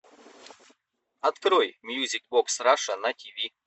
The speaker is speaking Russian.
открой мьюзик бокс раша на ти ви